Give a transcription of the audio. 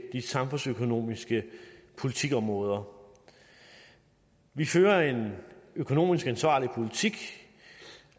de samfundsøkonomiske politikområder vi fører en økonomisk ansvarlig politik